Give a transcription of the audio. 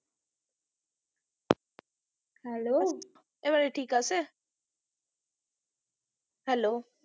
hello এবারে ঠিক আছে hello